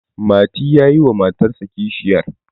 mati ya yi wa matarsa kishiyar